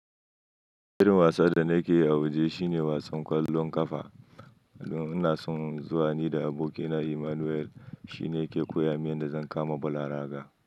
Irin wasan da nake yi a waje shine wasan kwallon kafa. Ina son zuwa, ni da abokina Emmanuel shine yake koya min yadda zan kama bal a raga.